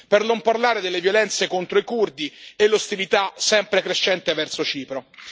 Per non parlare delle violenze contro i curdi e l'ostilità sempre crescente verso Cipro.